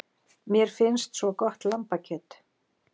Mér finnst svo gott lambakjöt.